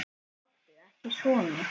Láttu ekki svona